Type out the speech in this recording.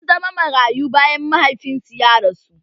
Sun zama marayu bayan mahaifinsu ya rasu